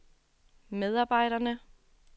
medarbejderne